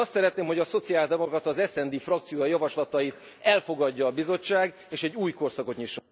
Én azt szeretném, hogy a szociáldemokrata, az SD frakció javaslatait elfogadja a Bizottság és egy új korszakot nyisson